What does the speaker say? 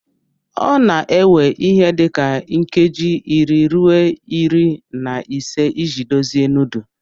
Ọ na-ewe ihe dị ka nkeji iri ruo iri na ise iji dozie nudu.